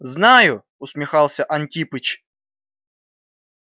знаю усмехался антипыч